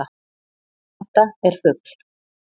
Þetta er fugl.